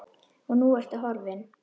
Og nú ertu horfin.